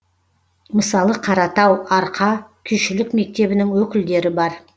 мысалы қаратау арқа күйшілік мектебінің өкілдері бар